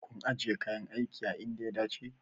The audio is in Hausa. Kun ajiye kayan aikin a inda ya dace?